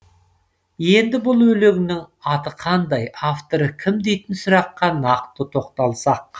енді бұл өлеңнің аты қандай авторы кім дейтін сұраққа нақты тоқталсақ